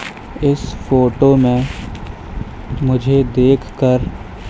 इस फोटो में मुझे देख कर--